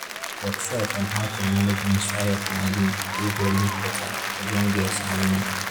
workshop on how to manage menstrual health and hygiene dey very important for young girls and women.